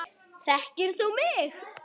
Þekkir þú mig?